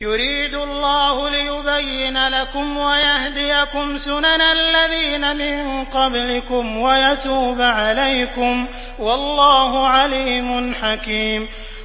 يُرِيدُ اللَّهُ لِيُبَيِّنَ لَكُمْ وَيَهْدِيَكُمْ سُنَنَ الَّذِينَ مِن قَبْلِكُمْ وَيَتُوبَ عَلَيْكُمْ ۗ وَاللَّهُ عَلِيمٌ حَكِيمٌ